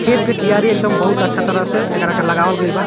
खेत के कियारी एकदम बहुत अच्छा तरह से एकरा के लगावल गइल बा।